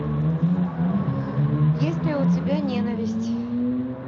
есть ли у тебя ненависть